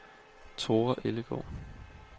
Thora Ellegaard